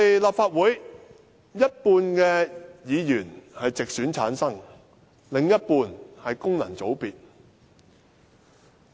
立法會一半議員是由直選產生，另一半則是功能界別。